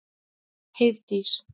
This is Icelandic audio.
Heiðdís